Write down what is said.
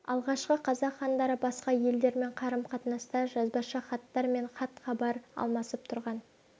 алғашқы қазақ хандары басқа елдермен қарым-қатынаста жазбаша хаттар мен хат-хабар алмасып тұрған